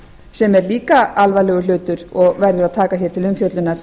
sem er líka alvarlegur hlutur og verður að taka til umfjöllunar